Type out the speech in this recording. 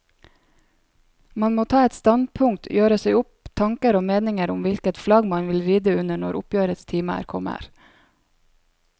Man må ta et standpunkt, gjøre seg opp tanker og meninger om hvilket flagg man vil ride under når oppgjørets time kommer.